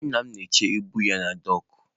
Nna m na-eche ibu ya na dọọkụ.